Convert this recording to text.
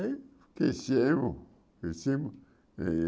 Aí cresceu, crescemos, e